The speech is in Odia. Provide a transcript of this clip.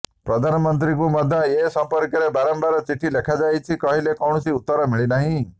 ପ୍ରଧାନମନ୍ତ୍ରୀଙ୍କୁ ମଧ୍ୟ ଏ ସମ୍ପର୍କରେ ବାରମ୍ବାର ଚିଠି ଲେଖାଯାଇଛି ହେଲେ କୌଣସି ଉତ୍ତର ମିଳିନାହିଁ